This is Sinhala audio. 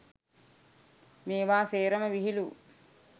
මේවා සේරම විහිළු!